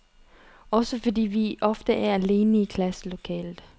Også fordi vi ofte er alene i klasselokalet.